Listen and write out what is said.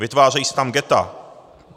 Vytvářejí se tam ghetta.